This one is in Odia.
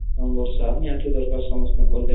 ହଁ ବର୍ଷା ନିହାଁନ୍ତି ଦରକାର୍ ସମସ୍ତଂକ ଲାଗି